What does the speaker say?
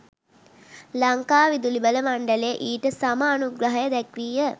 ලංකා විදුලිබල මණ්ඩලය ඊට සම අනුග්‍රහය දැක්වීය.